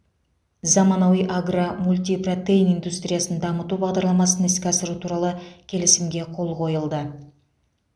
заманауи агро мультипротеин индустриясын дамыту бағдарламасын іске асыру туралы келісімге қол қойылды